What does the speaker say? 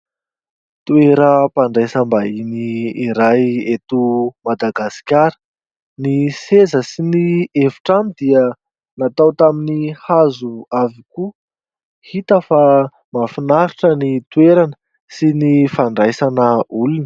Toeram-pandraisam-bahiny iray eto Madagasikara, ny seza sy ny efitrano dia natao tamin'ny hazo avokoa, hita fa mahafinaritra ny toerana sy ny fandraisana olona.